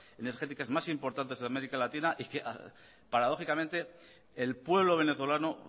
reservas energéticas más importantes de américa latina y que paradójicamente el pueblo venezolano